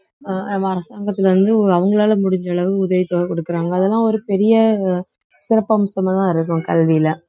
அஹ் அரசாங்கத்துல இருந்து அவங்களால முடிஞ்ச அளவு உதவித்தொகை கொடுக்குறாங்க அதெல்லாம் ஒரு பெரிய சிறப்பம்சமாதான் இருக்கும் கல்வியில